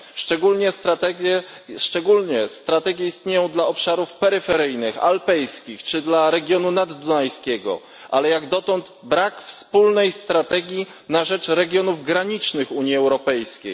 Szczególne strategie istnieją dla obszarów peryferyjnych, alpejskich czy dla regionu naddunajskiego, ale jak dotąd brak wspólnej strategii na rzecz regionów granicznych Unii Europejskiej.